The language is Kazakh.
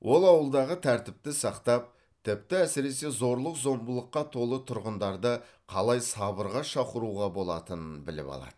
ол ауылдағы тәртіпті сақтап тіпті әсіресе зорлық зомбылыққа толы тұрғындарды қалай сабырға шақыруға болатынын біліп алады